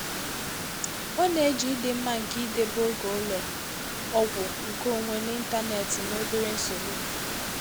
Ọ na-eji ịdị mma nke idebe oge ụlọ ọgwụ nkeonwe n'ịntanetị na obere nsogbu.